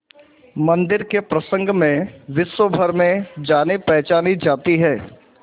मंदिर के प्रसंग में विश्वभर में जानीपहचानी जाती है